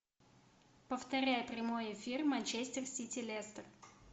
повторяй прямой эфир манчестер сити лестер